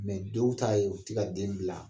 dɔw ta ye u te ka den bila.